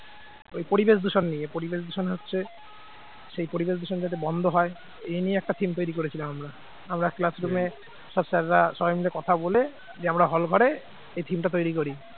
এই পরিবেশ দূষণ নিয়ে পরিবেশ দূষণ হচ্ছে সেই পরিবেশ দূষণ যাতে বন্ধ হয়। এই নিয়ে একটা theme তৈরি করেছিলাম আমরা, আমরা class room এ সব sir রা সবাই মিলে কথা বলে যে আমরা hall ঘরে এই theme টা তৈরি করি।